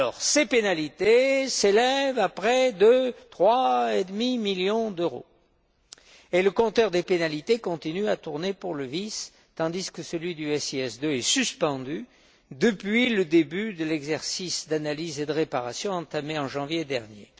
VIS. Ces pénalités s'élèvent à près de 3,5 millions d'euros et le compteur des pénalités continue à tourner pour le VIS, tandis que celui du SIS II est suspendu depuis le début de l'exercice d'analyse et de réparation entamé en janvier dernier.